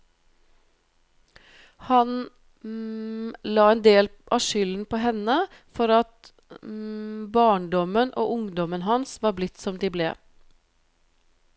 Han la en del av skylden på henne for at barndommen og ungdommen hans var blitt som de ble.